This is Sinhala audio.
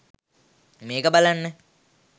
මේක බලන්න.